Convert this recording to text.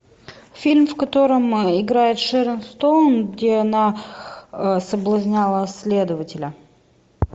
фильм в котором играет шерон стоун где она соблазняла следователя